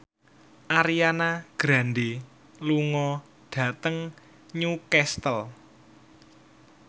Ariana Grande lunga dhateng Newcastle